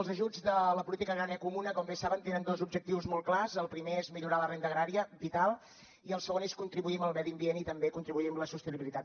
els ajuts de la política agrària comuna com bé saben tenen dos objectius molt clars el primer és millorar la renda agrària vital i el segon és contribuir al medi ambient i també contribuir a la sostenibilitat